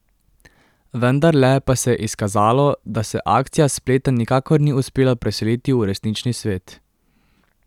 Vendarle pa se je izkazalo, da se akcija s spleta nikakor ni uspela preseliti v resnični svet.